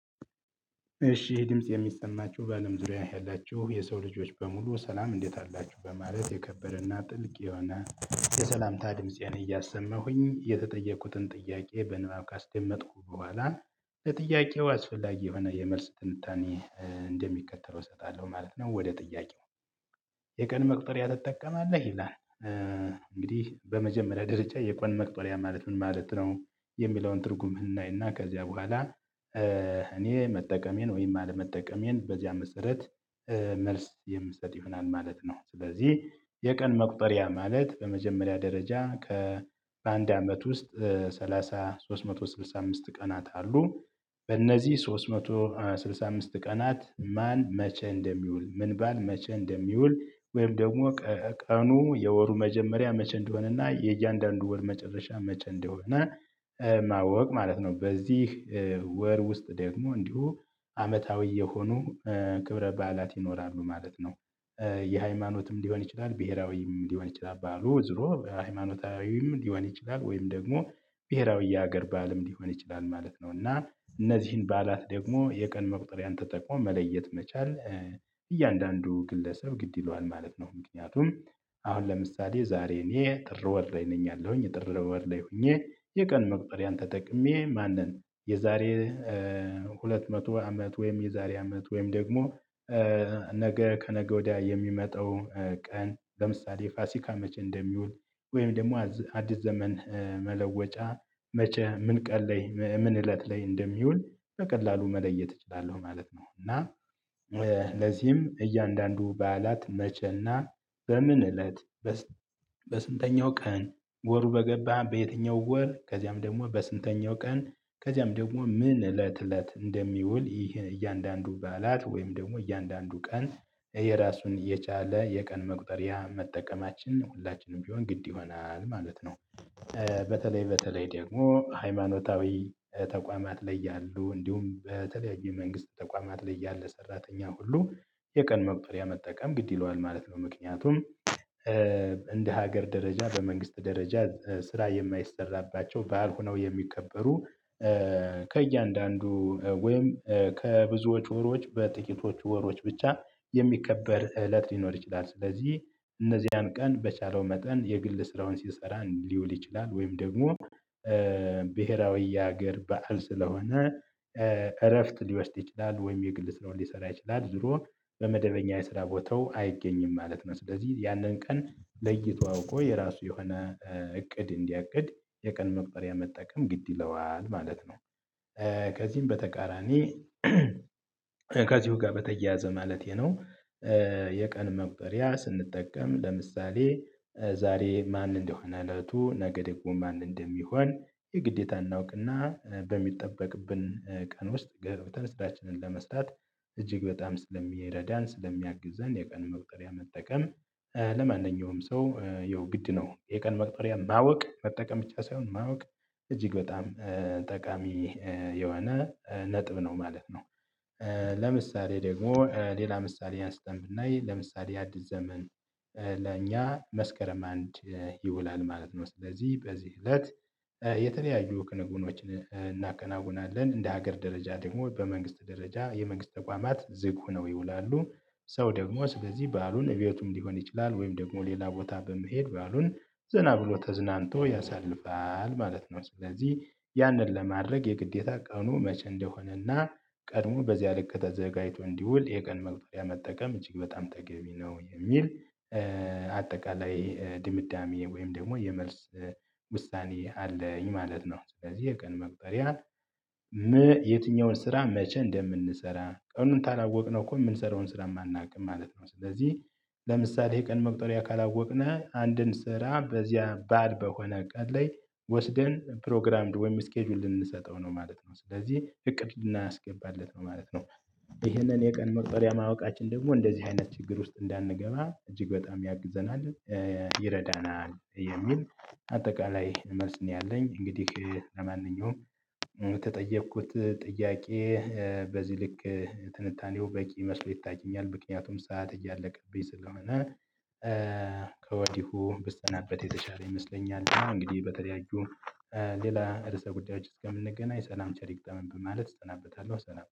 እሺ ይህ ድምጽ የሚሰማችሁ በአለም ዙሪያ ያላችሁ የሰው ልጆች በሙሉ ሰላም እንዴት አላችሁ? በማለት የከበረና ጥልቅ የሆነ የሰላምታ ድምጽ እያሰማሁኝ የተጠየቁትን ጥያቄ በንባብ ካስደመጥኩ በኋላ ለጥያቄው አስፈላጊ የሆነ የመልስ ትንታኔ እንደሚከተለው እሰጣለሁ ማለት ነው ወደ ጥያቄው። የቀን መቅጠሪያ ትጠቀማለህ? ይላል እንግዲህ በመጀመሪያ ደረጃ የቀን መቁጠሪያ ማለት ምን ማለት ነው? የሚለውን ትርጉም እናይና ከዚያ በኋላ እኔ መጠቀሜን ወይም አለመጠቀሜን በዚያ መሰረት መልስ የምሰጥ ይሆናል ማለት ነው ስለዚህ የቀን መቁጠሪያ ማለት በመጀመሪያ ደረጃ ከአንድ አመት ውስጥ ሰላሳ ሶስት መቶ ስልሳ አምስት ቀናት አሉ በእነዚህ ሶስት መቶ ስልሳ አምስት ቀናት ማን መቼ እንደሚውል ምን ባል መቼ እንደሚውል ወይም ደግሞ ቀኑ የወሩ መጀመሪያ መቼ እንደሆነና የእያንዳንዱ ወር መጨረሻ መቼ እንደሆነ ማወቅ ማለት ነው። በዚህ ወር ውስጥ ደግሞ እንዲሁ አመታዊ የሆኑ ክብረ በዓላት ይኖራሉ ማለት ነው። የሃይማኖትም ሊሆን ይችላል ብሄራዊም ሊሆን ይችላል በዓሉ ዞሮ ሃይማኖታዊም ሊሆን ይችላል ወይም ደግሞ ብሄራዊ የሀገር በዓልም ሊሆን ይችላል ማለት ነው እና እነዚህን በዓላት ደግሞ የቀን መቁጠሪያን ተጠቅሞ መለየት መቻል እያንዳንዱ ግለሰብ ግድ ይለዋል ማለት ነው ምክንያቱም አሁን ለምሳሌ ዛሬ እኔ ጥር ወር ላይ ነኝ አለሁኝ ጥር ወር ላይ ሆኜ የቀን መቁጠሪያን ተጠቅሜ ማን ነን የዛሬ ሁለት መቶ አመት ወይም የዛሬ አመት ወይም ደግሞ ነገ ከነገ ወዲያ የሚመጣው ቀን ለምሳሌ ፋሲካ መቼ እንደሚውል ወይም ደግሞ አዲስ ዘመን መለወጫ መቼ ምን ቀን ለይ ምን እለት ላይ እንደሚውል በቀላሉ መለየት እችላለሁ ማለት ነው እና ለዚህም እያንዳንዱ በዓላት መቸና በምን እለት በስንተኛው ቀን ወሩ በገባ በየትኛው ወር ከዚያም ደግሞ በስንተኛው ቀን ከዚያም ደግሞ ምን እለት እለት እንደሚውል ይህን እያንዳንዱ ባላት ወይም ደግሞ እያንዳንዱ ቀን የራሱን የቻለ የቀን መቁጠሪያ መጠቀማችን ሁላችንም ቢሆን ግድ ይሆናል ማለት ነው። በተለይ በተለይ ደግሞ ሃይማኖታዊ ተቋማት ላይ ያሉ እንዲሁም በተለያዩ መንግስት ተቋማት ላይ ያለ ሰራተኛ ሁሉ የቀን መቁጠሪያ መጠቀም ግድ ይለዋል ማለት ነው ምክንያቱም እንደ ሀገር ደረጃ በመንግስት ደረጃ ስራ የማይሰራባቸው በዓል ሆነው የሚከበሩ ከእያንዳንዱ ወይም ከብዙ ወሮች በጥቂቶች ወሮች ብቻ የሚከበር እለት ሊኖር ይችላል ስለዚህ እነዚያን ቀን በቻለው መጠን የግል ስራውን ሲሰራ ሊውል ይችላል ወይም ደግሞ ብሄራዊ የሀገር በዓል ስለሆነ እረፍት ሊወስድ ይችላል ወይም የግል ስራውን ሊሰራ ይችላል ዞሮ በመደበኛ የስራ ቦታው አይገኝም ማለት ነው ስለዚህ ያንን ቀን ለይቶ አውቆ የራሱ የሆነ እቅድ እንዲያቅድ የቀን መቁጠሪያ መጠቀም ግድ ይለዋል ማለት ነው። ከዚህም በተቃራኒ ከዚሁ ጋር በተያያዘ ማለቴ ነው የቀን መቁጠሪያ ስንጠቀም ለምሳሌ ዛሬ ማን እንደሆነ እለቱ ነገ ደግሞ ማን እንደሚሆን የግዴታ እናውቅና በሚጠበቅብን ቀን ውስጥ ገብተን ስራችንን ለመስራት እጅግ በጣም ስለሚረዳን ስለሚያግዝን የቀን መቁጠሪያ መጠቀም ለማንኛውም ሰው ይሄው ግድ ነው የቀን መቁጠሪያ ማወቅ መጠቀም ብቻ ሳይሆን ማወቅ እጅግ በጣም ጠቃሚ የሆነ ነጥብ ነው ማለት ነው። ለምሳሌ ደግሞ ሌላ ምሳሌ አንስተን ብናይ ለምሳሌ አዲስ ዘመን ለእኛ መስከረም አንድ ይውላል ማለት ነው ስለዚህ በዚህ እለት የተለያዩ ክንውኖችን እናከናውናለን። እንደ ሀገር ደረጃ ደግሞ በመንግስት ደረጃ የመንግስት ተቋማት ዝግ ሁነው ይውላሉ ሰው ደግሞ ስለዚህ ባሉን እቤቱም ሊሆን ይችላል ወይም ደግሞ ሌላ ቦታ በመሄድ ባሉን ዘና ብሎ ተዝናንቶ ያሳልፋል ማለት ነው ስለዚህ ያንን ለማድረግ የግዴታ ቀኑ መቼ እንደሆነና ቀድሞ በዚያ ልክ ተዘጋጅቶ እንዲውል የቀን መቁጠሪያ መጠቀም እጅግ በጣም ተገቢ ነው የሚል አጠቃላይ ድምዳሜ ወይም ደግሞ የመልስ ውሳኔ አለኝ ማለት ነው ስለዚህ የቀን መቁጠሪያ የትኛውን ስራ መቼ እንደምንሰራ ቀኑን ታላወቅነው እኮ የምንሰራውን ስራም አናውቅም ማለት ነው ስለዚህ ለምሳሌ የቀን መቁጠሪያ ካላወቅነህ አንድን ስራ በዚያ ባድ በሆነ ቀን ላይ ወስደን ፕሮግራም ወይም ስኬጁል ልንሰጠው ነው ማለት ነው ስለዚህ እቅድ ልናስገባለት ነው ማለት ነው ይሄንን የቀን መቁጠሪያ ማወቃችን ደግሞ እንደዚህ አይነት ችግር ውስጥ እንዳንገባ እጅግ በጣም ያግዘናል ይረዳናል የሚል አጠቃላይ መልስ ነው ያለኝ እንግዲህ ለማንኛውም የተጠየኩት ጥያቄ በዚህ ልክ ትንታኔው በቂ መስሎ ይታየኛል ምክንያቱም ሰዓት እያለቀብኝ ስለሆነ ከወዲሁ ብሰናበት የተሻለ ይመስለኛል እና እንግዲህ በተለያዩ ሌላ ርዕሰ ጉዳዮች እስከምንገናኝ ሰላም ቸር ይግጠመን በማለት እሰናበታለሁ ሰላም።